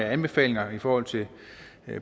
anbefalinger i forhold til